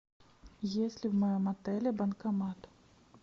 есть ли в моем отеле банкомат